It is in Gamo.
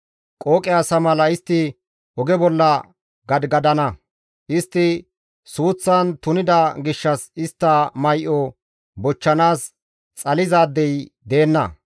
Qooqe asa mala istti oge bolla gadigadana; istti suuththan tunida gishshas istta may7o bochchanaas xalizaadey deenna.